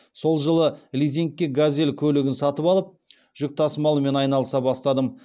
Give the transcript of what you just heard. сол жылы лизингке газель көлігін алып жүк тасымалымен айналыса бастадым